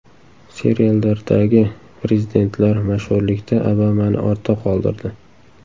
Seriallardagi prezidentlar mashhurlikda Obamani ortda qoldirdi.